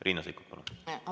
Riina Sikkut, palun!